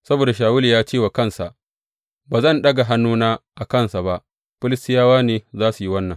Saboda Shawulu ya ce wa kansa, Ba zan ɗaga hannuna a kansa ba, Filistiyawa ne za su yi wannan.